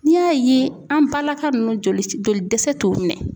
N'i y'a ye an balaka ninnu jolidɛsɛ t'u minɛ